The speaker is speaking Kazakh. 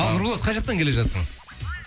ал нұрболат қай жақтан келе жатырсың